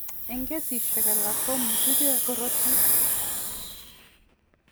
Eng' kesishek alak komutige koroito.